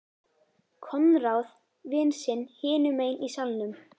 Konráð vin sinn hinum megin í salnum.